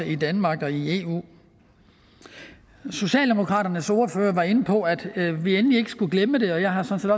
i danmark og i eu socialdemokraternes ordfører var inde på at vi endelig ikke skulle glemme det og jeg har sådan